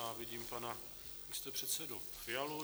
A vidím pana místopředsedu Fialu.